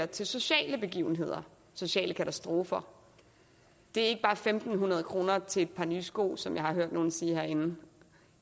til sociale begivenheder sociale katastrofer det er fem hundrede kroner til et par nye sko som jeg har hørt nogle sige herinde